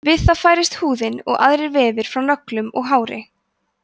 við það færist húðin og aðrir vefir frá nöglum og hári